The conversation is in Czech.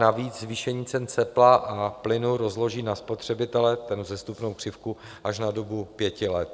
Navíc zvýšení cen tepla a plynu rozloží na spotřebitele, tedy vzestupnou křivku, až na dobu pěti let.